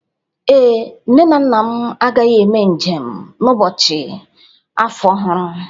Ee, nne na nna m agaghị eme njem n'ụbọchị afọ ọhụrụ.